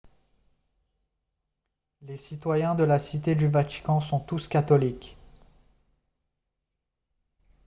les citoyens de la cité du vatican sont tous catholiques